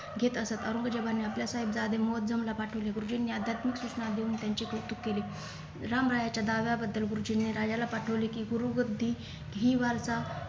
घेत असत औरंगजेबाने आपले साहेब जादे मोहज्जूमला पाठवले गुरुजींनी अध्यात्मिक सूचना देऊन त्यांचे कौतुक केले रामरायाच्या दहाव्या बद्दल गुरुजींनी राजाला पाठवले कि गुरुबुद्धी धी वारसा